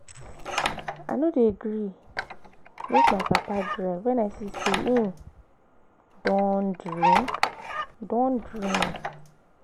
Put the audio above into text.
I no dey gree make my papa drive wen I see sey im don drink. don drink.